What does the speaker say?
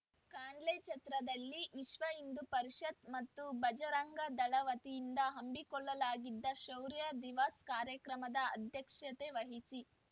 ಕಾನ್ಲೆಛತ್ರದಲ್ಲಿ ವಿಶ್ವಹಿಂದೂ ಪರಿಷತ್‌ ಮತ್ತು ಭಜರಂಗ ದಳ ವತಿಯಿಂದ ಹಮ್ಮಿಕೊಳ್ಳಲಾಗಿದ್ದ ಶೌರ್ಯ ದಿವಸ್‌ ಕಾರ್ಯಕ್ರಮದ ಅಧ್ಯಕ್ಷತೆ ವಹಿಸಿ